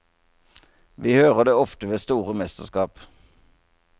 Vi hører det ofte ved store mesterskap.